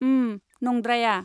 उम, नंद्राया।